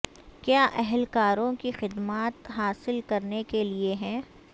کیا اہلکاروں کی خدمات حاصل کرنے کے لئے ہے